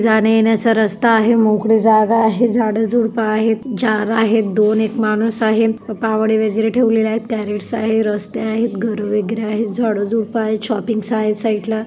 जाणे-येण्याचा रस्ता आहे मोकळी जागा आहे झाडं झुडपं आहेत जार आहेत दोन एक माणूस आहे पावडे वगैरे ठेवलेले आहेत कॅरेट्स आहे रस्ते आहेत घरं वगैरे आहेत झाड झुडपं आहे शोपिंग्स आहे साइड ला--